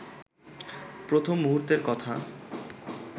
প্রথম মুহূর্তের কথা